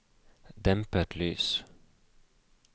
dempet lys